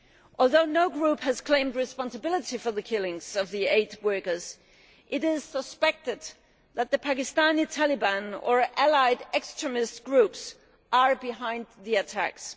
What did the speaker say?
Although no group has claimed responsibility for the killings of the aid workers, it is suspected that the Pakistani Taliban or allied extremist groups are behind the attacks.